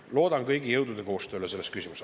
Loodan kõigi jõudude koostööd selles küsimuses.